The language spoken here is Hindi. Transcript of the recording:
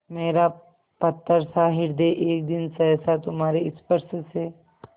मेरा पत्थरसा हृदय एक दिन सहसा तुम्हारे स्पर्श से